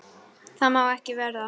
Það má ekki verða.